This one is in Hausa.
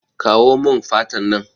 Kawo mun fatan nan